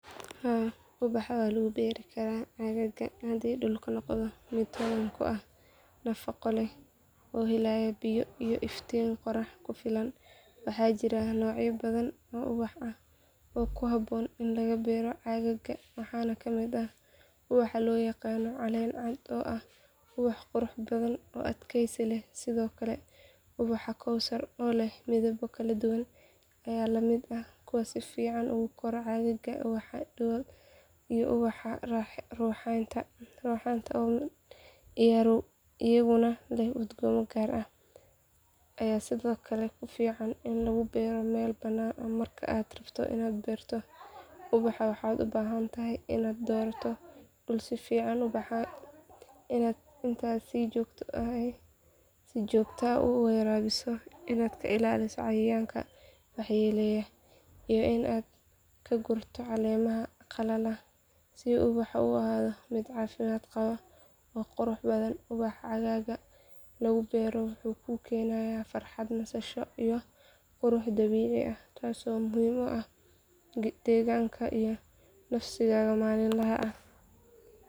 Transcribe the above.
Haa, ubaxa si wanaagsan ayaa looga beeri karaa aaggaaga haddii la tixgeliyo xaaladaha cimilada, nooca ciidda, iyo helitaanka biyo ku filan. Aaggaaga, oo laga yaabo inuu leeyahay cimilo kulul ama qabow, waxaa muhiim ah in la doorto ubaxyo ku habboon deegaankaas si ay u koraan una ubaxaan si qurux badan. Tusaale ahaan, haddii aaggaagu yahay mid kulayl leh oo qorax badan leh, ubaxyada ayaa ah kuwa ugu fiican, maxaa yeelay waxay jecel yihiin iftiinka tooska ah iyo kulaylka. Haddii aaggaagu yahay mid qabow oo roobab badan leh, ubaxyada.